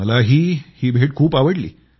मला ही भेट खूप आवडली